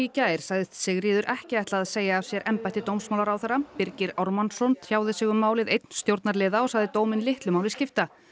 gær sagðist Sigríður ekki ætla að segja af sér embætti dómsmálaráðherra Birgir Ármannsson tjáði sig um málið einn stjórnarliða og sagði dóminn litlu máli skipta